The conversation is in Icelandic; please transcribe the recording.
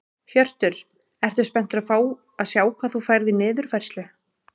Hjörtur: Ertu spenntur að fá að sjá hvað þú færð í niðurfærslu?